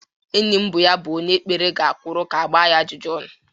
Enyi m bụ ya bụ onye kpere ga-akwụrụ ka-agba ya ajụjụ ọnụ.